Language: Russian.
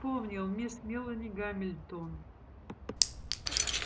вспомнил мисс мелани гамильтон